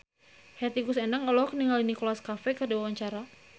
Hetty Koes Endang olohok ningali Nicholas Cafe keur diwawancara